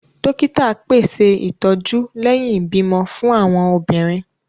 Dókítà pèsè ìtọjú lẹhin ibimọ fún awọn obìnrin